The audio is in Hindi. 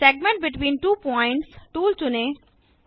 segment between two points tool चुनें